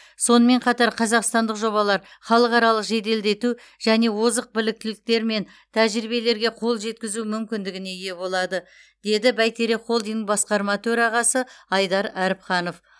сонымен қатар қазақстандық жобалар халықаралық жеделдету және озық біліктіліктер мен тәжірибелерге қол жеткізу мүмкіндігіне ие болады деді бәйтерек холдингінің басқарма төрағасы айдар әріпханов